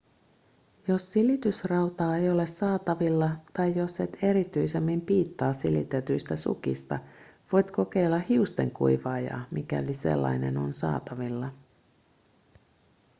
jos silitysrautaa ei ole saatavilla tai jos et erityisemmin piittaa silitetyistä sukista voit kokeilla hiustenkuivaajaa mikäli sellainen on saatavilla